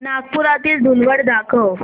नागपुरातील धूलवड दाखव